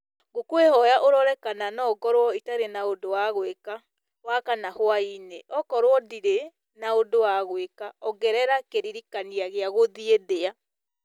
ngũkwĩhoya ũrore kana no ngorwo itarĩ na ũndũ wa gwĩka wakana hwaĩ-inĩ okorwo ndirĩ na ũndũ wa gwĩka ongerera kĩririkania gĩa gũthiĩ ndĩa